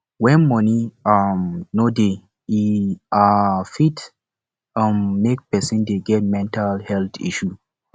when money um no dey e um fit um make person dey get mental health issue